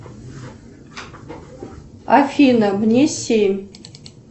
афина мне семь